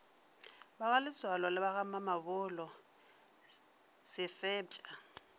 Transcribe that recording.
bagaletsoalo le bagamamabolo se fepša